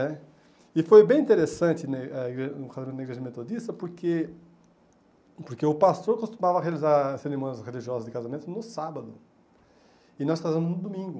E foi bem interessante né a igre casar na igreja metodista porque porque o pastor costumava realizar as cerimônias religiosas de casamento no sábado, e nós casamos no domingo.